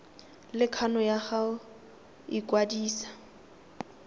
le kgano ya go ikwadisa